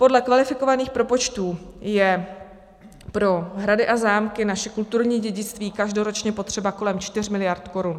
Podle kvalifikovaných propočtů je pro hrady a zámky, naše kulturní dědictví, každoročně potřeba kolem 4 miliard korun.